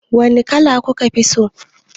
Wani kala kuka fi so?